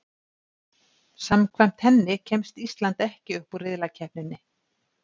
Samkvæmt henni kemst Ísland ekki upp úr riðlakeppninni.